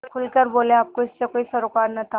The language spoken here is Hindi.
खुल कर बोलेआपको इससे कोई सरोकार न था